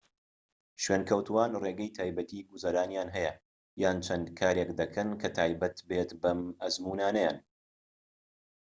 شوێنکەوتووان ڕێگەی تایبەتیی گوزەرانیان هەیە یان چەند کارێك دەکەن کە تایبەت بێت بەم ئەزموونانەیان